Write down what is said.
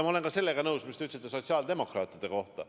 Ma olen ka sellega nõus, mis te ütlesite sotsiaaldemokraatide kohta.